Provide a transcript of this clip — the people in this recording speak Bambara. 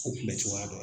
O kunbɛ cogoya dɔ ye